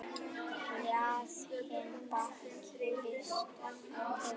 Hlaðinn bakki vistum er.